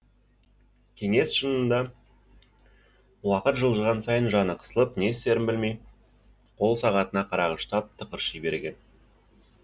кеңес шынында уақыт жылжыған сайын жаны қысылып не істерін білмей қол сағатына қарағыштап тықырши берген